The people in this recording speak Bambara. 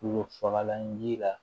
Tulo fagalan ji la